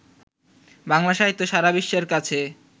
বাংলা সাহিত্য সারা বিশ্বের কাছে